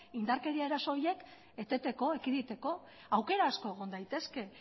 indarkeria eraso horik eteteko ekiditeko aukera asko egon daitezke